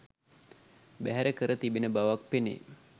බැහැර කර තිබෙන බවක් පෙනේ.